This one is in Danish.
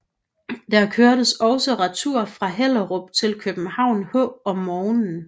Der kørtes også retur fra Hellerup til København H om morgenen